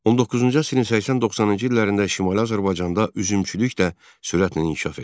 19-cu əsrin 80-90-cı illərində Şimali Azərbaycanda üzümçülük də sürətlə inkişaf edir.